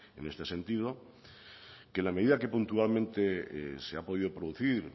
en este sentido en la medida que puntualmente se ha podido producir